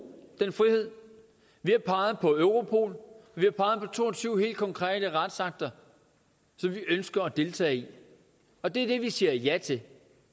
den frihed vi har peget på europol vi har peget på to og tyve helt konkrete retsakter som vi ønsker at deltage i og det er det vi siger ja til